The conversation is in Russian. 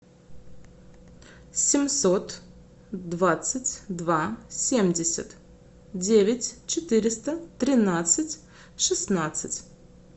семьсот двадцать два семьдесят девять четыреста тринадцать шестнадцать